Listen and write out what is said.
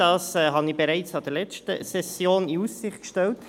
das hatte ich bereits an der letzten Session in Aussicht gestellt.